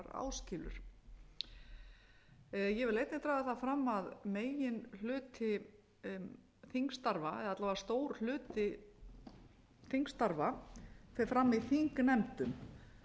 áskilur ég vil einnig draga það fram að megin hluti þingstarfa eða alla vega stór hluti þingstarfa fer fram í þingnefndum